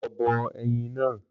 Lọ bọ ẹyin náà